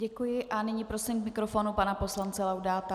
Děkuji a nyní prosím k mikrofonu pana poslance Laudáta.